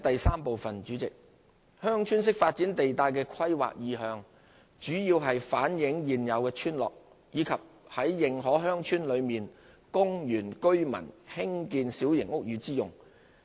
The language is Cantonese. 三"鄉村式發展"地帶的規劃意向，主要是反映現有村落，以及於認可鄉村內供原居村民興建小型屋宇之用。